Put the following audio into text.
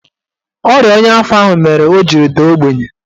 Ọrịa ọnya afọ ahụ mere o jiri daa ogbenye